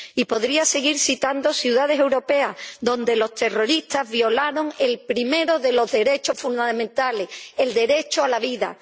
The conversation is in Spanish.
Y podría seguir citando ciudades europeas donde los terroristas violaron el primero de los derechos fundamentales el derecho a la vida.